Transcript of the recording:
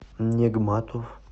негматов